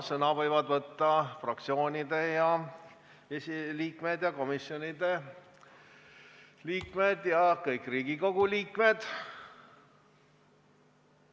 Sõna võivad võtta fraktsioonide esiliikmed, komisjonide liikmed ja kõik Riigikogu liikmed.